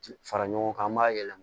Fara ɲɔgɔn kan an b'a yɛlɛma